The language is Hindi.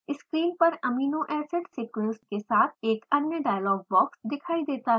स्क्रीन पर एमिनो एसिड सीक्वेंस के साथ एक अन्य डायलॉग बॉक्स दिखाई देता है